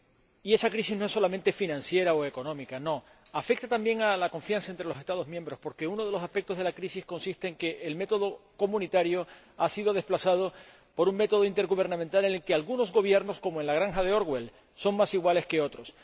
y esa crisis no es solamente financiera o económica, no, afecta también a la confianza entre los Estados miembros, porque uno de los aspectos de la crisis consiste en que el método comunitario ha sido desplazado por un método intergubernamental en el que algunos Gobiernos, como en la Granja de Orwell, son más iguales que otros.